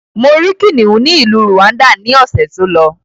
Mo rí kìnnìún ni ìlú Rwanda ni ọ̀sẹ̀ tó lọ.